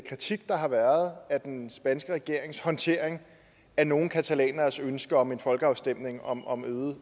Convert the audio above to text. kritik der har været af den spanske regerings håndtering af nogle catalaneres ønske om en folkeafstemning om om